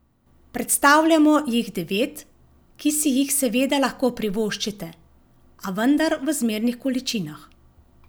Predstavljamo jih devet, ki si jih seveda lahko privoščite, a vendar v zmernih količinah.